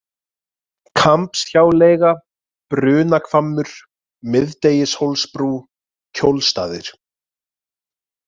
Kambshjáleiga, Brunahvammur, Miðdegishólsbrú, Kjólstaðir